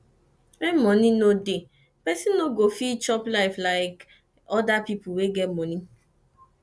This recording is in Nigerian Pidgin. when money no dey person no go fit chop life like oda pipo wey get money